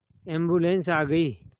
ambulance आ गई